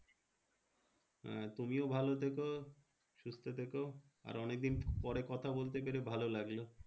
হ্যাঁ তুমিও ভালো থেকো সুস্থ থেকো। আর অনেকদিন পরে কথা বলতে পেরে ভালো লাগলো।